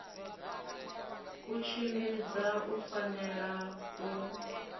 u tshimbidza u fanela u